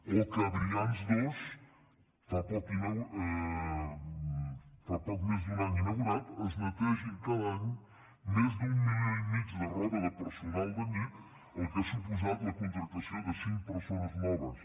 o que a brians dos fa poc més d’un any inaugurat es netegin cada any més d’un milió i mig de roba de personal d’allí fet que ha suposat la contractació de cinc persones noves